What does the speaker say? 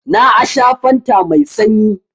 Na a sha fanta mai sanyi.